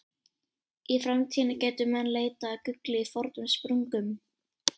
Í framtíðinni gætu menn leitað að gulli í fornum sprungum.